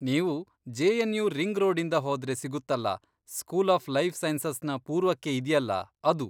ನೀವು JNU. Ring ರೋಡಿಂದ ಹೋದ್ರೆ ಸಿಗುತ್ತಲ್ಲ, ಸ್ಕೂಲ್ ಆಫ್ ಲೈಫ್ ಸೈನ್ಸಸ್ನ ಪೂರ್ವಕ್ಕೆ ಇದ್ಯಲ್ಲ ಅದು.